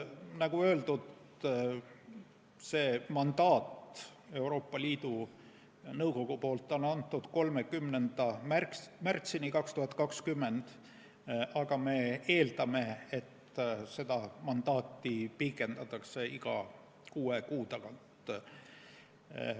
Nagu öeldud, selle mandaadi on Euroopa Liidu Nõukogu andnud 30. märtsini 2020, aga me eeldame, et seda mandaati pikendatakse iga kuue kuu tagant.